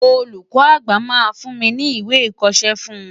Olùkọ́ àgbà máa fún mi ní ìwé ìkọṣẹ́ fún un.